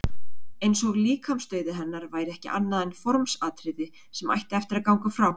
Eins og líkamsdauði hennar væri ekki annað en formsatriði sem ætti eftir að ganga frá.